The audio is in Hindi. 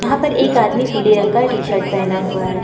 यहां पर एक आदमी पीले रंग का टी शर्ट पहना हुआ है।